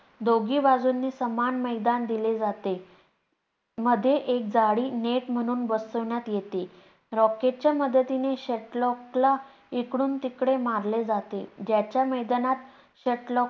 दोघी बाजूनी समान मैदान दिले जाते. मध्ये एक जाळी net म्हुणून बसवण्यात येते. racket च्या मदतीने shuttlecock ला इकडून तिकडे मारले जाते.